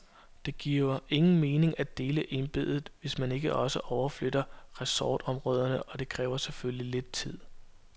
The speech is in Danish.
Det giver ingen mening at dele embedet, hvis man ikke også overflytter ressortområderne, og det kræver selvfølgelig lidt tid.